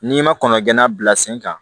N'i ma kɔn ka gɛnna bila sen kan